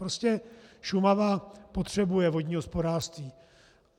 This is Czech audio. Prostě Šumava potřebuje vodní hospodářství.